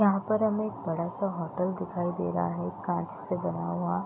यहां पर हमें एक बड़ा-सा होटल दिखाई दे रहा है कांच से बना हुआ।